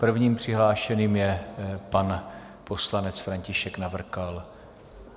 První přihlášeným je pan poslanec František Navrkal.